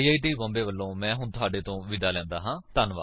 I I T Bombay ਵਲੋਂ ਮੈਂ ਹੁਣ ਤੁਹਾਡੇ ਤੋਂ ਵਿਦਾ ਲੈਂਦਾ ਹਾਂ